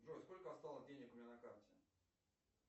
джой сколько осталось денег у меня на карте